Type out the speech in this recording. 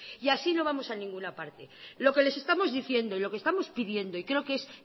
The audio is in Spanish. y así no vamos a ninguna parte lo que les estamos diciendo y lo que estamos pidiendo y creo que es